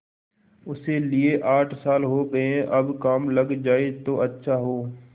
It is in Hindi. उसे लिये आठ साल हो गये अब काम लग जाए तो अच्छा हो